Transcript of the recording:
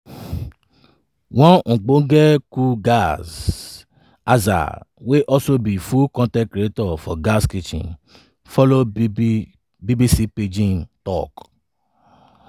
one ogbonge cook gaz azah wey also be food con ten t creator of gaz kitchen follow bbc pidgin tok.